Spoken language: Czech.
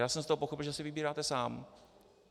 Já jsem z toho pochopil, že si vybíráte sám.